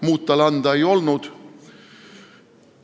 Muud tal anda ei olnud.